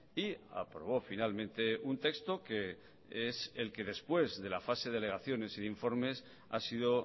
y aprobó finalmente un texto que es el que después de la fase de alegaciones y de informes ha sido